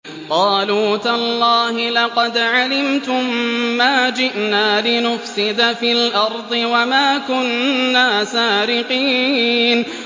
قَالُوا تَاللَّهِ لَقَدْ عَلِمْتُم مَّا جِئْنَا لِنُفْسِدَ فِي الْأَرْضِ وَمَا كُنَّا سَارِقِينَ